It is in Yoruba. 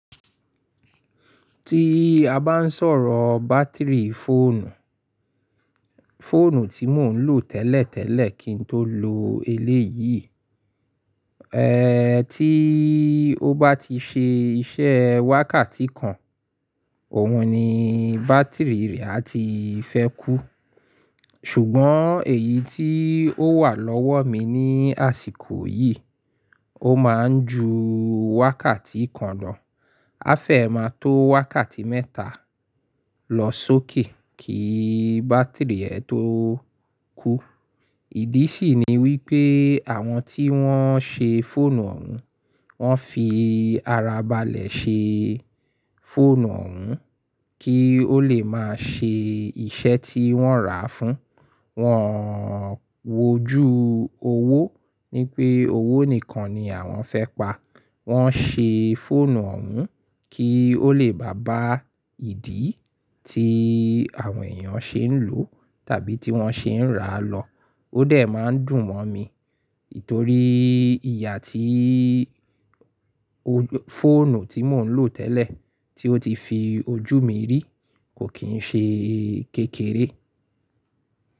Tí a bá ń sọ̀rọ̀ bátìrì fóònù, fóònù tí mò ń lò tẹ́lẹ̀tẹ́lẹ̀ kí n tó lo eléyìí, ẹ́ tí ó bá ti ṣe iṣẹ́ wákàtí kan, òhun ni bátìrì rẹ̀ á ti fẹ́ kú. Ṣùgbọ́n èyí tí ó wà lọ́wọ́ mi ní àsìkò yìí, ó máa ń ju wákàtí kan lọ. A fẹ́ máa tó wákàtí mẹ́ta lọ sókè kí bátìrì ẹ tó kú. Ìdí sì ni wípé àwọn tí wọ́n ṣe fóònù ọ̀hún, wọ́n fi ara balẹ̀ ṣe fóònù ọ̀hún kí ó lè máa ṣe iṣẹ́ tí wọ́n rà á fún. Wọ́n wójú owó ní pé owó nìkan ni àwọn fẹ́ pa. Wọ́n ṣe fóònù ọ̀hún kí ó lè bá ba ìdí tí àwọn èèyàn ṣe ń lò tàbí tí wọ́n ṣe ń rà lọ. Ó dẹ̀ máa ń dùn mọ́ mi, torí ìyà tí fóònù tí mò ń lò tẹ́lẹ̀ tí ó ti fi ojú mi rí kò kín ṣe kékeré.